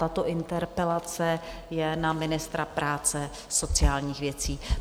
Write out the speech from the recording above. Tato interpelace je na ministra práce a sociálních věcí.